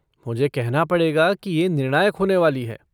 मुझे कहना पड़ेगा कि ये निर्णायक होने वाली है।